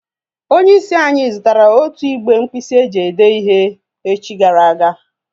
Onye is anyi zutara otu igbe nkpisi eji ede ihe echi gara aga